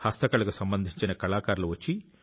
హస్తకళకు సంబంధించిన కళాకారులు వస్తారు